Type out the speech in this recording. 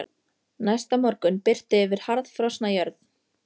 Næsta morgun birti yfir harðfrosna jörð.